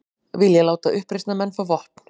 Vilja láta uppreisnarmenn fá vopn